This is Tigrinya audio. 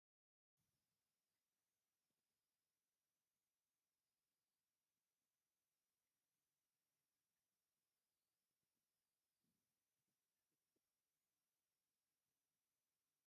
ናይ ፋብሪካ ምርት ዝኮነ ናይ ህፃውንቲ ዝጥቀሙሉ ዓይነት ፀባታት ሓደ ዝኮነ ኣንከር እዩ ኣብ መደርደሪ ዘሎ ። እቲ ኣብ ትሕቲኡ ዘሎ ኣብ ጎማ እንታይ እዩ?